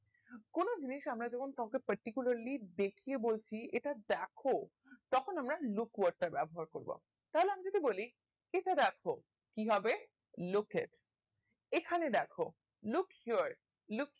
কোনো জিনিস আমরা যখন কাওকে particularly দেখিয়ে বলছি এটা দ্যাখো তখন আমরা look word টা ব্যাবহার করব তাহলে আমি যদি বলি এটা দ্যাখো কি হবে look it এখানে দ্যাখো look here look